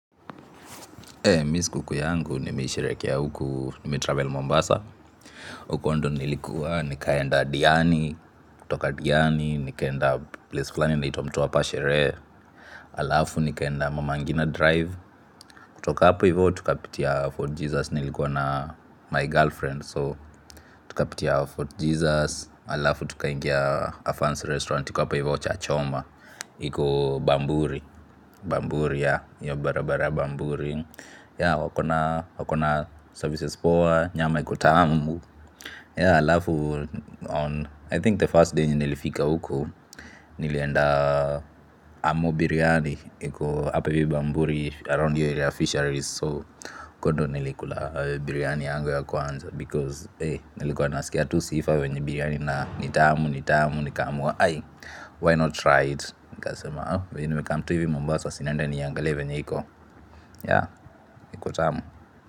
Mimi siku kuu yangu, nimei sherehekea huku, nime-travel Mombasa huko ndio nilikuwa, nikaenda Diani, kutoka Diani, nikaenda place fulani inaitwa mtwapa sherehe alafu nikaenda mama ngina drive, kutoka hapo hivyo tukapitia Fort Jesus, nilikuwa na my girlfriend So, tukapitia Fort Jesus, alafu tukaingia a fancy restaurant iko hapo hivyo chachoma. Iko bamburi, bamburi ya, hiyo barabara ya bamburi yah wako na wako na services poa nyama iko tamu yah halafu on i think the first day nilifika huku nilienda Amu biryani iko hapa hivi bamburi around hiyo area ya fisheries soo huko ndio nilikula biryani yangu ya kwanza because eh nilikuwa nasikia tu sifa venye biryani na ni tamu ni tamu nikaamua aii why not try it nikasema aa, venye nimekam tu hivi mambasa si niende niangalie venye iko. Ya, iko tamu.